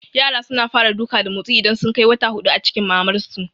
Yara suna fara duka da motsi idan sun kai wata hudu a cikin mamar su